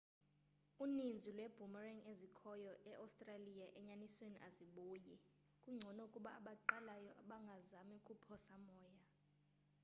uninzi lwee-boomerang ezikhoyo e-australia enyanisweni azibuyi kungcono ukuba abaqalayo bangazami ukuphosa moya